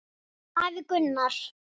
Afi Gunnar.